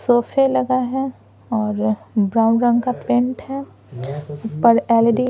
सोफे लगा है और ब्राउन रंग का पेंट है पर एलईडी --